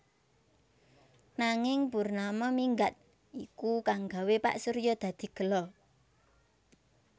Nanging Purnama minggat iku kang gawé Pak Surya dadi gela